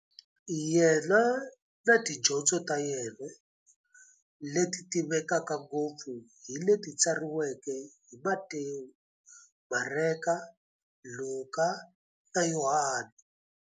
Yena na tidyondzo ta yena, leti tivekaka ngopfu hi leti tsariweke hi-Matewu, Mareka, Luka, na Yohani.